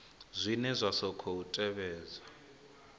zwine zwa sa khou tevhedza